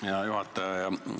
Hea juhataja!